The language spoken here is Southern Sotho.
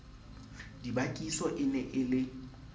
dibakiso e ne e le